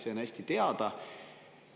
See on hästi teada.